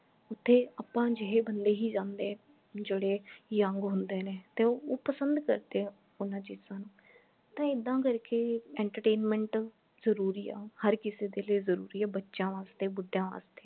ਓਥੇ ਆਪਾ ਜਿਹੇ ਬੰਦੇ ਹੀ ਜਾਂਦੇ ਜੇਡੇ young ਹੁੰਦੇ ਨੇ ਤੇ ਉਹ ਉਹ ਪਸੰਦ ਕਰਦੇ ਹੈ ਉਹਨਾਂ ਚੀਜਾਂ ਨੂੰ ਤੇ ਏਦਾਂ ਕਰਕੇ entertainment ਜਰੂਰੀ ਹਾ ਹਰ ਕਿਸੇ ਦੇ ਲਈ ਜਰੂਰੀ ਹਾ ਬੱਚਿਆਂ ਵਾਸਤੇ ਬੁਢੀਆਂ ਵਾਸਤੇ